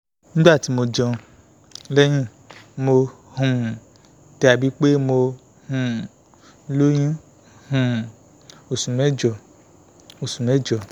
nigbati mo jẹun (lẹhin) mo um dabi pe mo um loyun um osu mẹjọ osu mẹjọ